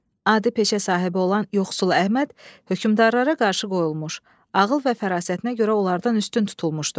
Adi peşə sahibi olan yoxsul Əhməd hökmdarlara qarşı qoyulmuş ağıl və fərasətinə görə onlardan üstün tutulmuşdu.